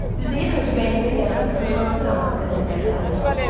Üzeyir Hacıbəylinin yaratdığı hansı romans qəzəlləri tanıyırsız?